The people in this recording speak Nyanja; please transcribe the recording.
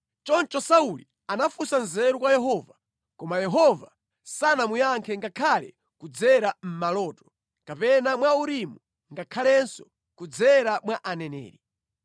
Choncho Sauli anafunsa nzeru kwa Yehova koma Yehova sanamuyankhe ngakhale kudzera mʼmaloto, kapena mwa Urimu ngakhalenso kudzera mwa aneneri.